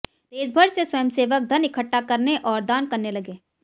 देश भर से स्वयंसेवक धन इकट्ठा करने और दान करने लगे